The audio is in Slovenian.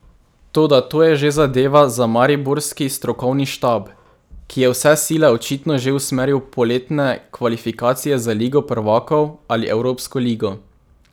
Toda to je že zadeva za mariborski strokovni štab, ki je vse sile očitno že usmeril v poletne kvalifikacije za ligo prvakov ali evropsko ligo.